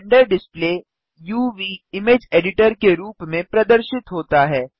render display UV image editor के रूप में प्रदर्शित होता है